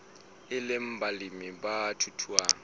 e le balemi ba thuthuhang